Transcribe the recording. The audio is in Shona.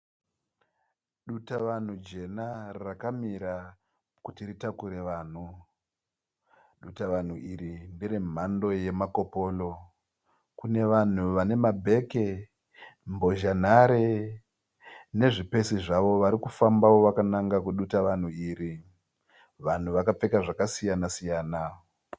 Dutavanhu jena rakamira kuti ritakure vanhu. Dutavanhu iri ndere mhando yeMakoporo. Kune vanhu vane mabheke, bhozhanhare nezvipesi zvavo vari kufamba vakananga kudutavanhu iri. Vanhu vakapfeka zvakasiyana- siyana.